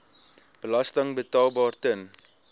belasting betaalbaar ten